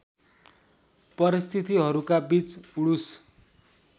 परिस्थितिहरूका बीच वुड्स